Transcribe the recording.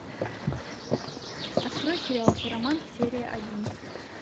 открой сериал хиромант серия один